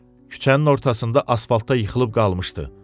Küçənin ortasında asfaltta yıxılıb qalmışdı.